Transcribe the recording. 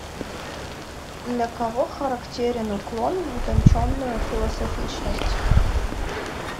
для кого характерен уклон в утонченную философичность